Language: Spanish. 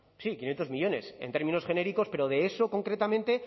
sí quinientos millónes en términos genéricos pero de eso concretamente